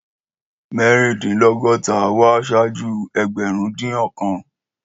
Mẹrindinlogota wà ṣaju ẹgbẹrun odin ọkan.